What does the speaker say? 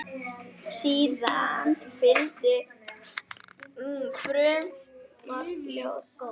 Síðan fylgdi frumort ljóð.